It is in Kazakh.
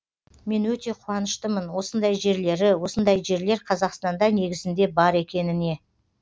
мен өте қуаныштымын осындай жерлері осындай жерлер қазақстанда негізінде бар екеніне